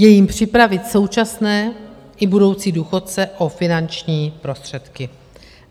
Je jím připravit současné i budoucí důchodce o finanční prostředky.